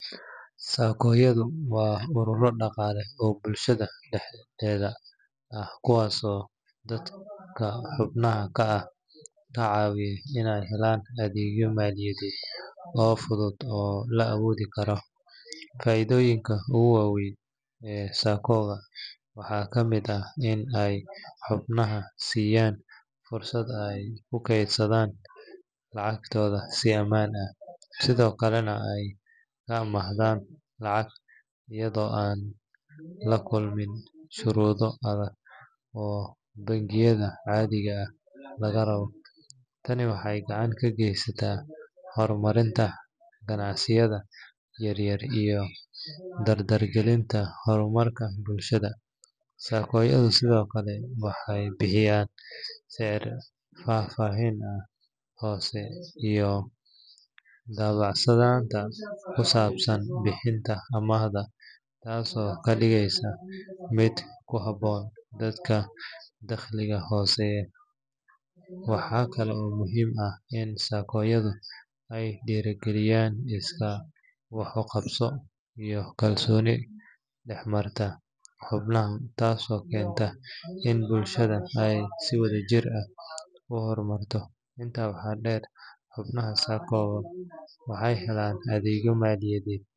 saaco yadho waa urura daqale oo bulshadha dexdedha ah kuwaso dadka xubnaha Ka ah Kacawiya inay helaan adeegyo maliyadhed oo fadhud oo la awodhi Kara. Faidhoyinka ugu waweyn ee saccodha waxa kamid ah in ay xubnaha siyaan fursad ay kukedsadhan lacagtodha si amaan ah sidhokalena ay ka ahmadhan lacag iyadho an lakulmin shurudha adhag oo bangiyadha cathiga ah lagaraba taani waxay gacan kageysata hormarinta ganacsayadha yaryar iyo dardar galinta hormarka bulshadha. Sakoyadha sidhokale waxay bixiyaan seer fafahin ah hoose iyo dabacsadhanta kusabsan bixinta amahdo taaso kadigeysa mid ku habon dadka taqliga hoseya waxa Kala oo muhim ah in sakoyadha ay diragaliyan iskaa wax uqabso iyo kalsoni dexmarta xubnaha taaso kenta in bulshadha ay si wadha jir ah u hormarta intaa waxa deer xubnaha saaco waxay helaan adeegyo maliyadhed.